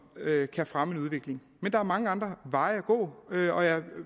kan fremme en udvikling men der er mange andre veje at gå og jeg